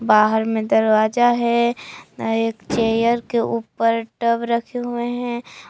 बाहर में दरवाजा है ना एक चेयर के ऊपर टब रखे हुए हैं।